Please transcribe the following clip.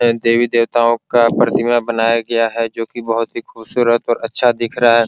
यहां देवी-देवताओं का प्रतिमा बनाया गया है जो कि बहुत ही खूबसूरत और अच्छा दिख रहा है।